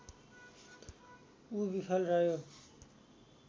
ऊ विफल रह्यो